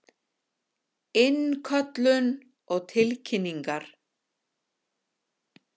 Innköllun og tilkynningar.